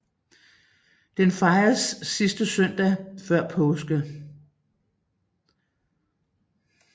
Den fejres sidste søndag før påske